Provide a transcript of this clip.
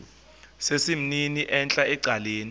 sesimnini entla ecaleni